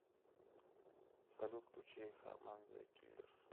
салют включи хаман зе киллерс